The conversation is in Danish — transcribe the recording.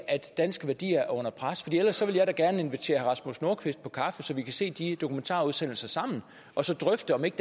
at danske værdier er under pres ellers vil jeg da gerne invitere herre rasmus nordqvist på kaffe så vi kan se de dokumentarudsendelser sammen og så drøfte om ikke